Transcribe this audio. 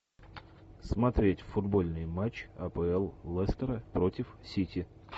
смотреть футбольный матч апл лестера против сити